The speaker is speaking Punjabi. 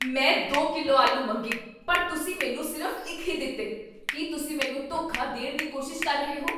ਮੈਂ ਦੋ ਕਿਲੋ ਆਲੂ ਮੰਗੇ ਪਰ ਤੁਸੀਂ ਮੈਨੂੰ ਸਿਰਫ਼ ਇੱਕ ਹੀ ਦਿੱਤੇ! ਕੀ ਤੁਸੀਂ ਮੈਨੂੰ ਧੋਖਾ ਦੇਣ ਦੀ ਕੋਸ਼ਿਸ਼ ਕਰ ਰਹੇ ਹੋ?